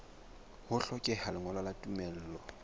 ho hlokeha lengolo la tumello